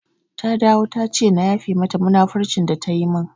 Ta dawo tace na yafe mata munafurcin da ta yi min